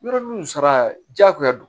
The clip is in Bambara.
Yɔrɔ nun sara jagoya don